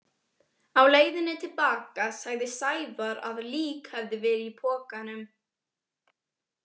Á leiðinni til baka sagði Sævar að lík hefði verið í pokanum.